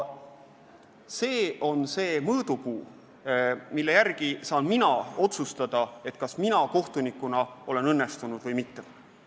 See on see mõõdupuu, mille järgi saan mina otsustada, kas mina kohtunikuna olen õnnestunud või mitte.